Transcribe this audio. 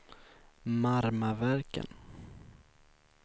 Marmaverken